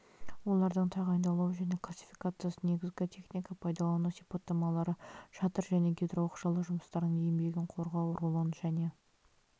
олардың тағайындалуы және классификациясы негізгі техника пайдалану сипаттамалары шатыр және гидрооқшаулау жұмыстарының еңбегін қорғау рулон және